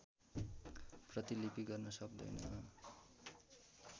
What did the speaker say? प्रतिलिपि गर्न सक्दैन